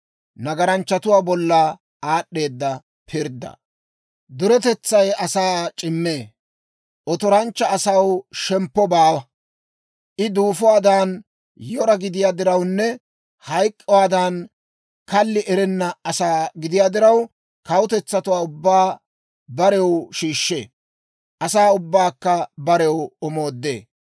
Duretetsay asaa c'immee; otoranchcha asaw shemppo baawa. I duufuwaadan yora gidiyaa dirawunne hayk'k'uwaadan kalli erenna asaa gidiyaa diraw, kawutetsatuwaa ubbaa barew shiishshee; asaa ubbaakka barew omoodee.